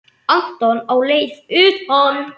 Anton á leið utan?